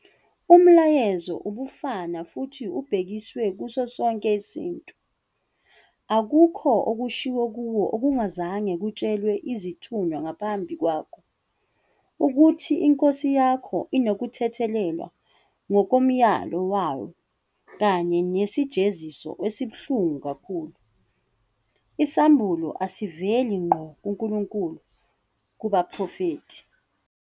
Umlayezo ubufana futhi ubhekiswe kuso sonke isintu."Akukho okushiwo kuwe okungazange kutshelwe izithunywa ngaphambi kwakho, ukuthi inkosi yakho inokuthethelelwa ngokomyalo wayo kanye nesijeziso esibuhlungu kakhulu." Isambulo asiveli ngqo kuNkulunkulu kubaprofethi.